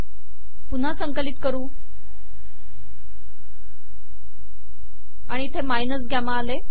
पुन्हा संकलित करू आणि इथे माइनस गम्मा आले